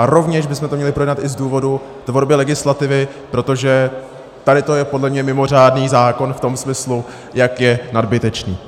A rovněž bychom to měli projednat i z důvodu tvorby legislativy, protože tady to je podle mě mimořádný zákon v tom smyslu, jak je nadbytečný.